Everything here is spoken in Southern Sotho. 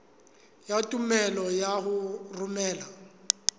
ya tumello ya ho romela